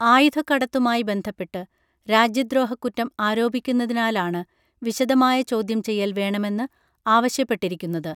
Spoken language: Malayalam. ആയുധക്കടത്തുമായി ബന്ധപ്പെട്ട് രാജ്യദ്രോഹ കുറ്റം ആരോപിക്കുന്നതിനാലാണ് വിശദമായ ചോദ്യംചെയ്യൽ വേണമെന്ന് ആവശ്യപ്പെട്ടിരിക്കുന്നത്